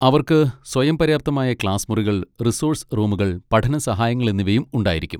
അവർക്ക് സ്വയംപര്യാപ്തമായ ക്ലാസ് മുറികൾ, റിസോഴ്സ് റൂമുകൾ, പഠന സഹായങ്ങൾ എന്നിവയും ഉണ്ടായിരിക്കും.